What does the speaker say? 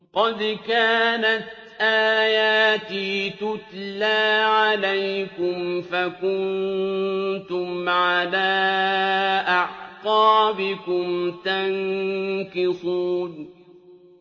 قَدْ كَانَتْ آيَاتِي تُتْلَىٰ عَلَيْكُمْ فَكُنتُمْ عَلَىٰ أَعْقَابِكُمْ تَنكِصُونَ